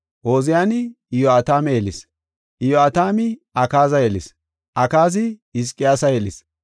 Ooziyani Iyo7ataame yelis; Iyo7atami Akaaza yelis; Akaazi Hizqiyaasa yelis;